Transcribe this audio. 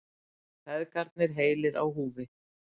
Feðgarnir heilir á húfi